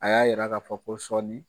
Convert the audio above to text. A y'a jira k'a fɔ ko sɔɔni